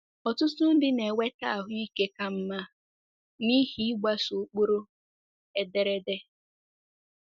Ọtụtụ ndị na-enweta ahụ ike ka mma n'ihi ịgbaso ụkpụrụ ederede.